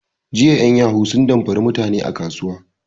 Jiya en yahu sun damfari mutani a kasuwa